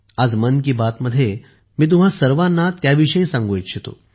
आज मन की बात मध्ये मी तुम्हा सर्वांना त्याविषयी सांगू इच्छितो